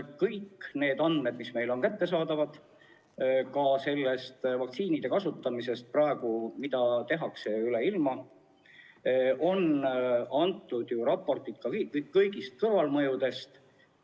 Kõik need andmed, mis meile on kättesaadavad vaktsiinide kasutamise kohta üle ilma, sisaldavad ju raporteid ka kõigist kõrvalmõjudest.